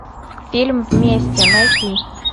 фильм вместе найти